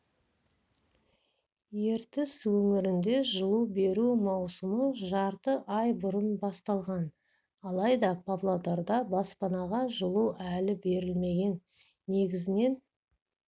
ертіс өңірінде жылу беру маусымы жарты ай бұрын басталған алайда павлодарда баспанаға жылу әлі берілмеген негізінен